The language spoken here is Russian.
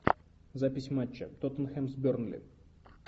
запись матча тоттенхэм с бернли